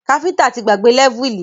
Káfíntà ti gbàgbé lẹ́vùlì